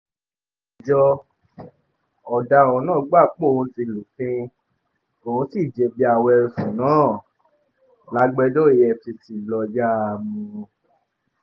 ọ̀daràn náà gbà póun ti lùfín òun sì jẹ̀bi àwọn ẹ̀sùn náà lágbèjòrò efcc